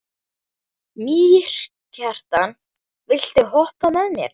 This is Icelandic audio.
Mýrkjartan, viltu hoppa með mér?